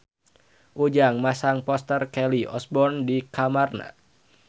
Ujang masang poster Kelly Osbourne di kamarna